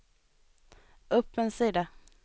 upp en sida